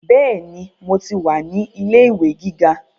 Bẹ́ẹ̀ni, mo ti wà ní ilé ìwé gíga